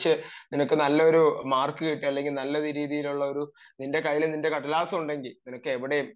നീ പഠിച്ചു ഒരു നല്ല മാർക്ക് കിട്ടി അല്ലെങ്കിൽ നല്ല രീതിയിലുള്ള ഒരു നിന്റെ കയ്യിൽ ഒരു കടലാസ് ഉണ്ടെങ്കിൽ നിനക്ക് എവിടെയും